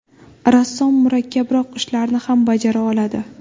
Rassom murakkabroq ishlarni ham bajara oladi.